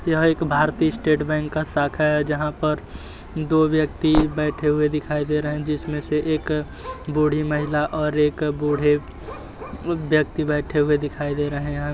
यहाँ एक भारतीय स्टेट बैंक का शाखा है जहाँ पर दो व्यक्ति बैठे हुए दिखाई दे रही है। जिसमे से एक बूढ़ी महिला और एक बूढ़े ब्यक्ति बैठे हुए दिखाई दे रहे है।